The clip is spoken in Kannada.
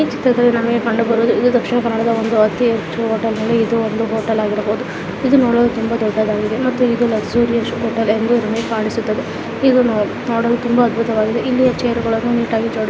ಈ ಚಿತ್ರದಲ್ಲಿ ನಮಗೆ ಕಂಡುಬರುವುದು ದಕ್ಷಿಣ ಕನ್ನಡದ ಅತಿ ಹೆಚ್ಚು ಹೋಟೆಲ್ ಗಳಲ್ಲಿ ಇದು ಒಂದು ಹೋಟೆಲ್ ಆಗಿರಬಹುದು ಇದು ನೋಡಲು ತುಂಬಾ ದೊಡ್ಡದಾಗಿದೆ ಮತ್ತು ಇದು ಲಗಜುರಿಯಸ್ ಹೋಟೆಲ್ ಎಂದು ನಮಗೆ ಕಾಣಿಸುತ್ತದೆ.